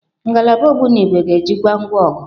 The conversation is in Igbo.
Ngalaba ogbunigwe ga-ejikwa ngwa ọgụ.